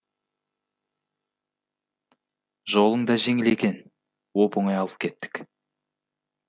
жолың да жеңіл екен оп оңай алып кеттік